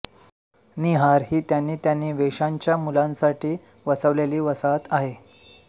नीहार ही त्यांनी त्यांनी वेश्यांच्या मुलांसाठी वसवलेली वसाहत आहे